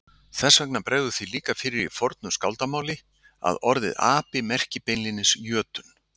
Þess vegna bregður því líka fyrir í fornu skáldamáli að orðið api merki beinlínis jötunn.